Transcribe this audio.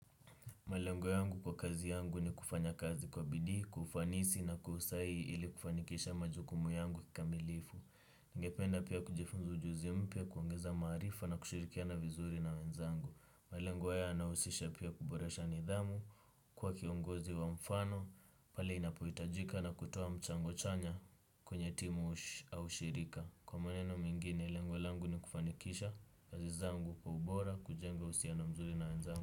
Malengo yangu kwa kazi yangu ni kufanya kazi kwa bidii, kwa ufanisi na kwahusahihi ili kufanikisha majukumu yangu kikamilifu. Ningependa pia kujifunza ujuzi mpya, kuongeza maarifa na kushirikiana vizuri na wenzangu. Malengo haya yanahusisha pia kuboresha nidhamu, kuwa kiongozi wa mfano, pale inapohitajika na kutoa mchango chanya kwenye timu au shirika. Kwa maneno mingine, lengo langu ni kufanikisha kazi zangu kwaubora, kujenga uhusiano mzuri na wenzangu.